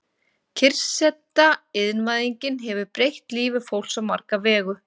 Kyrrseta Iðnvæðingin hefur breytt lífi fólks á marga vegu.